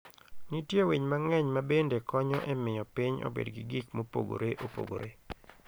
Nitie winy mang'eny ma bende konyo e miyo piny obed gi gik mopogore opogore.